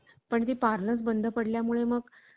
पण जी पार्लर बंद पडल्या मुळे